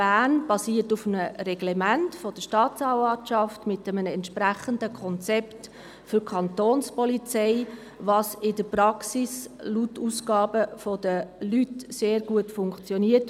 Bern basiert auf einem Reglement der Staatsanwaltschaft mit einem entsprechenden Konzept für die Kantonspolizei, was in der Praxis laut Aussagen diverser Leute sehr gut funktioniert.